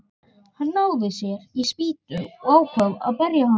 Hann náði sér í spýtu og ákvað að berja hann.